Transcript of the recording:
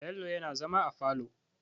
Bello yana zama a falo.